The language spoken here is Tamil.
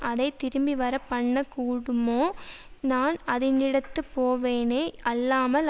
அதை திரும்பிவரப்பண்ணக் கூடுமோ நான் அதினிடத்துப் போவேனே அல்லாமல்